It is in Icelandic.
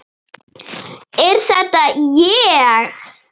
Er þetta ég!?